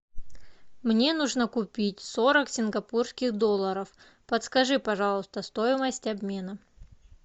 мне нужно купить сорок сингапурских долларов подскажи пожалуйста стоимость обмена